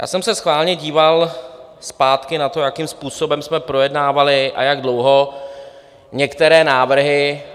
Já jsem se schválně díval zpátky na to, jakým způsobem jsme projednávali a jak dlouho některé návrhy.